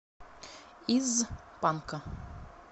из панка